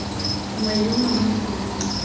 nngwe le nngwe mo kholomong